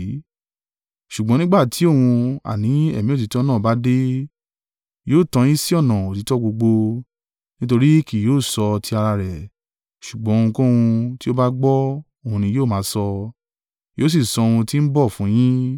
Ṣùgbọ́n nígbà tí òun, àní Ẹ̀mí òtítọ́ náà bá dé, yóò tọ́ yín sí ọ̀nà òtítọ́ gbogbo, nítorí kì yóò sọ ti ara rẹ̀; ṣùgbọ́n ohunkóhun tí ó bá gbọ́, òun ni yóò máa sọ, yóò sì sọ ohun tí ń bọ̀ fún yín.